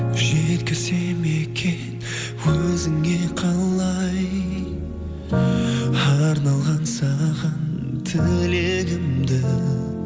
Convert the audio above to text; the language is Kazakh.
жеткізсем екен өзіңе қалай арналған саған тілегімді